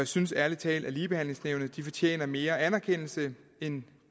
synes ærlig talt at ligebehandlingsnævnet fortjener mere anerkendelse end